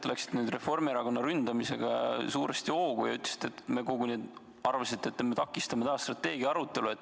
Te läksite nüüd Reformierakonna ründamisega suuresti hoogu ja arvasite koguni, et me takistame taas strateegia arutelu.